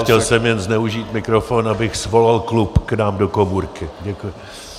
Chtěl jsem jen zneužít mikrofon, abych svolal klub k nám do komůrky.